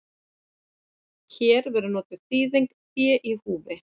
Hér verður notuð þýðingin fé í húfi.